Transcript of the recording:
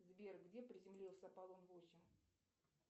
сбер где приземлился аполлон восемь